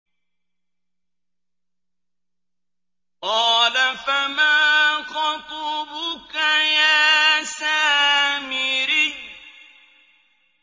قَالَ فَمَا خَطْبُكَ يَا سَامِرِيُّ